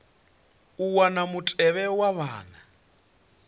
u wana mutevhe wa vhane